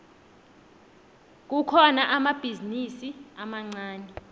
kukhona amabhizinisi amancani